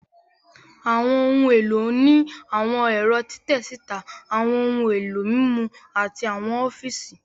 Àwọn ohun èlò ní àwọn ẹ̀rọ́ títẹ síta, àwọn ohun èlò mímú, àti àwọn ọfíìsì